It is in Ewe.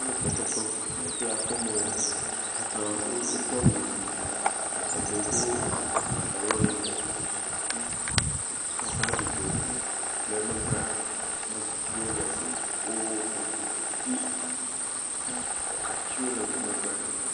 Wole fefe fem, fefe ya fem wolea , wo katã wodo awu ʋɛ̃, eɖewo do pantalɔ yibɔ hafi wo katã dzodzom, le megbea, ametsitsiwo le wo kpɔm hafi atiwo le megbea, ati…